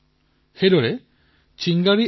ই আপোনাৰ বাবে অতিশয় সহায়ক হব পাৰে